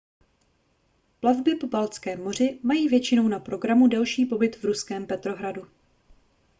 plavby po baltském moři mají většinou na programu delší pobyt v ruském petrohradu